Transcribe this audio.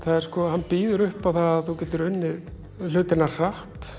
hann býður upp á það að þú getur unnið hlutina hratt